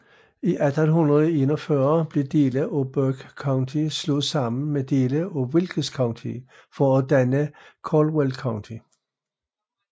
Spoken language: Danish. I 1841 blev dele af Burke County slået sammen med dele af Wilkes County for at danne Caldwell County